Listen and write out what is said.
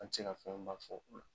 An ti se ka fɛnba fɔ